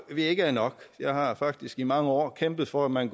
vi ikke er nok jeg har faktisk i mange år kæmpet for at man